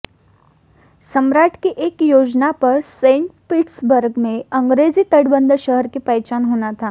सम्राट की एक योजना पर सेंट पीटर्सबर्ग में अंग्रेजी तटबंध शहर की पहचान होना था